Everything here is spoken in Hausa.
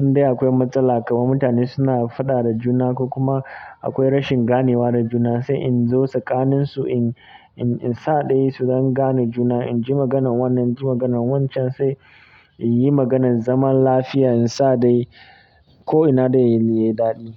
in dai akwai matsala kamar mutane suna faɗa da juna ko kuma akwai rashin ganewa da juna, sai in zo tsakaninsu in, in, in saɗaya su zan gane juna in ji maganan wannan, in ji maganan wancan sai in yi maganan zaman lafiya in saɗaye ko ina dai yadda ya daɗi.